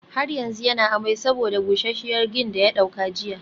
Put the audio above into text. Har yanzu yana amai saboda busasshiyar gin daya dauka jiya